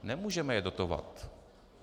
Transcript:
Nemůžeme je dotovat.